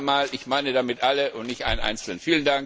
Noch einmal Ich meine damit alle und nicht einen Einzelnen.